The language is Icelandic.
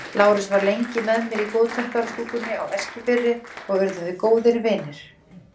Lárus var lengi með mér í góðtemplarastúkunni á Eskifirði og urðum við góðir vinir.